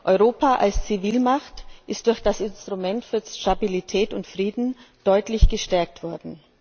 Europa als Zivilmacht ist durch das Instrument für Stabilität und Frieden deutlich gestärkt worden.